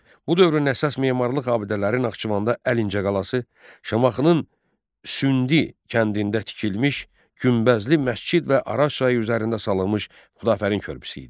Bu dövrün əsas memarlıq abidələri Naxçıvanda Əlincə qalası, Şamaxının Sündi kəndində tikilmiş Günbəzli məscid və Araz çayı üzərində salınmış Xudafərin körpüsü idi.